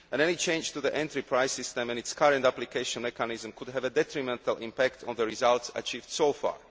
Any change to the entry price system and its current application mechanism could have a detrimental impact on the results achieved so far.